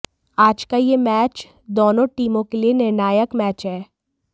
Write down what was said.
आज का यह मैच दोनों टीमों के लिए निर्णायक मैच है